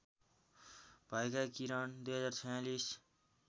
भएका किरण २०४६